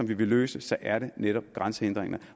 vi vil løse så er det netop grænsehindringer